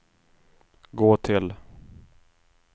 gå till